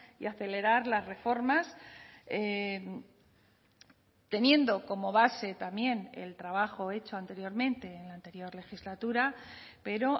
y acelerar las reformas teniendo como base también el trabajo hecho anteriormente en la anterior legislatura pero